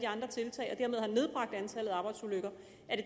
andre tiltag og dermed har nedbragt antallet af arbejdsulykker